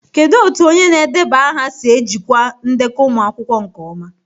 Kedu otu onye na-edeba aha si ejikwa ndekọ ụmụ akwụkwọ nke ọma?